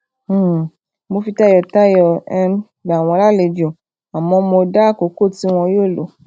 um mo fi tayọtayọ um gbà wọ́n lalejo àmọ́ mo dá àkókò ti wọn yoo lọ